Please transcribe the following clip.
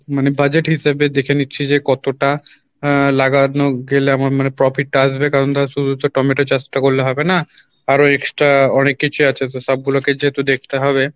মানে budget হিসেবে দেখে নিচ্ছি যে কতটা আহ লাগানো গেলে আমার মানে profit টা আসবে কারণ ধর শুধু তো টমেটো চাষ টা করলে হবে না আরো extra অনেক কিছুই আছে তো সব গুলোকে যেহেতু দেখতে হবে